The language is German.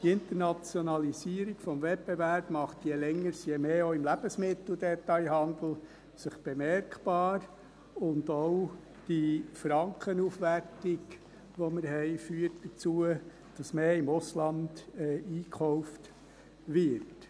Die Internationalisierung des Wettbewerbs macht sich je länger je mehr auch im Lebensmitteldetailhandel bemerkbar, und auch die Frankenaufwertung, die wir haben, führt dazu, dass mehr im Ausland eingekauft wird.